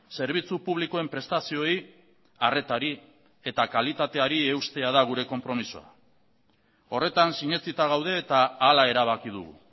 zerbitzu publikoen prestazioei arretari eta kalitateari eustea da gure konpromisoa horretan sinetsita gaude eta hala erabaki dugu